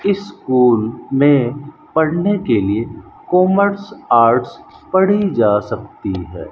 School में पढ़ने के लिए कॉमर्स आर्ट्स पढ़ी जा सकती है।